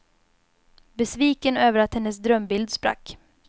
Besviken över att hennes drömbild sprack.